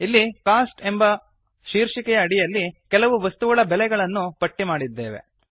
ಇಲ್ಲಿ ಕೋಸ್ಟ್ ಎಂಬ ಶೀರ್ಷಿಕೆಯ ಅಡಿಯಲ್ಲಿ ಕೆಲವು ವಸ್ತುಗಳ ಬೆಲೆಗಳನ್ನು ಪಟ್ಟಿ ಮಾಡಿದ್ದೇವೆ